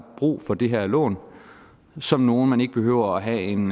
brug for de her lån som nogle man ikke behøver at have en